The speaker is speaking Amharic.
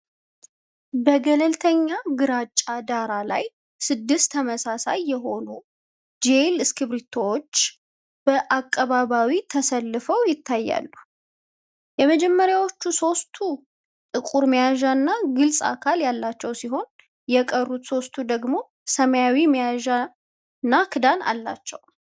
በገለልተኛ ግራጫ ዳራ ላይ ስድስት ተመሳሳይ የሆኑ ጄል እስክሪብቶዎች በአቀባዊ ተሰልፈው ይታያሉ። የመጀመሪያዎቹ ሦስቱ ጥቁር መያዣና ግልጽ አካል ያላቸው ሲሆን፣ የቀሩት ሦስቱ ደግሞ ሰማያዊ መያዣና ክዳን አላቸው።